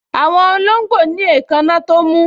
Àwọn olóngbò ní èékánná tó mú